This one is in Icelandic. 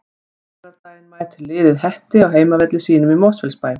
Á laugardaginn mætir liðið Hetti á heimavelli sínum í Mosfellsbæ.